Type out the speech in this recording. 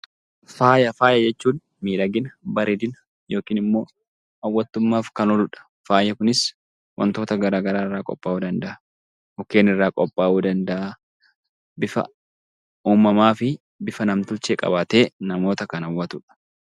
Faaya Faaya jechuun miidhagina, bareedina yookiin immoo hawwattummaaf kan oolu dha. Faayi kunis wantoota gara garaa irraa qophaa'uu danda'a. Mukeen irraa qophaa'uu danda'a. Bifa uumamaa fi bifa nam-tolchee qabaatee namoota kan hawwatu dha.